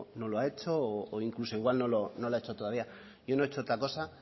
no lo no lo ha hecho o incluso igual no lo ha hecho todavía yo no he hecho otra cosa